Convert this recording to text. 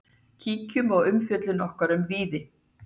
Kíkjum á umfjöllun okkar um Víði.